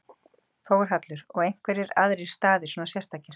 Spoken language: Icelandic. Þórhallur: Og einhverjir aðrir staðir svona sérstakir?